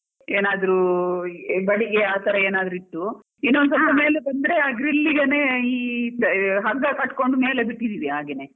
ಏನಾದ್ರು ಬಡಿಗೆ ಆ ತರ ಏನಾದ್ರು ಇಟ್ಟು ಇನ್ನೊಂದು ಸ್ವಲ್ಪ ಮೇಲೆ ಬಂದ್ರೆ ಆ grill ಗೆನೇ ಈ ಹಗ್ಗ ಕಟ್ಕೊಂಡು ಮೇಲೆ ಬಿಟ್ಟಿದೀನಿ ಹಾಗೆನೇ.